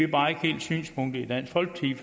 bare ikke helt synspunktet i dansk folkeparti